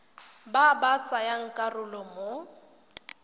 ba ba tsayang karolo mo